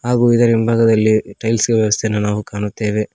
ಹಾಗೂ ಇದರ ಹಿಂಭಾಗದಲ್ಲಿ ಟೈಲ್ಸ್ ವ್ಯವಸ್ಥೆ ನಾವು ಕಾಣುತ್ತೇವೆ.